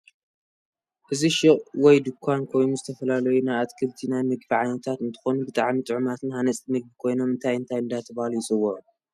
እዚ ሽቁ ወይ ድንኳን ኮይኑ ዝተፈላላዩ ናይ ኣትክሊት ናይ ምግብ ዓይነታት እንትኮኑ ብጣዓሚ ጥዑማትን ሃነፅቲ ምግብ ኮይኖም እንታይ እንታይ እዳተባሀሉ ይፅውዑ?